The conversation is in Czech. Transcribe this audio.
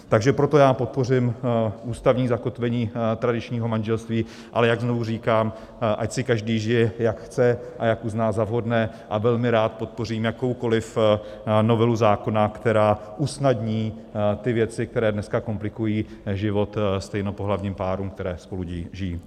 Takže proto já podpořím ústavní zakotvení tradičního manželství, ale jak znovu říkám, ať si každý žije, jak chce a jak uzná za vhodné, a velmi rád podpořím jakoukoli novelu zákona, která usnadní ty věci, které dneska komplikují život stejnopohlavním párům, které spolu žijí.